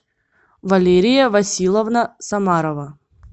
валерия василовна самарова